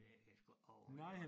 Det kan jeg sgu ikke hove om det var